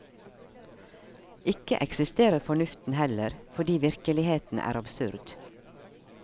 Ikke eksisterer fornuften heller, fordi virkeligheten er absurd.